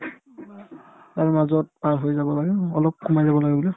তাৰ মাজত পাৰ হৈ যাব লাগে অলপ সোমাই যাব লাগে বোলে